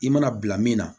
I mana bila min na